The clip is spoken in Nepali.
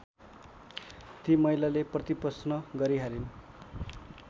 ती महिलाले प्रतिप्रश्न गरिहालिन्